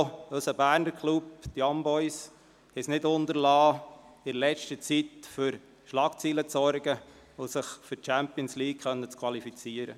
Auch unser Berner Club, die Young Boys, haben es nicht unterlassen, in letzter Zeit für Schlagzeilen zu sorgen, indem sie sich für die Champions League qualifizierten.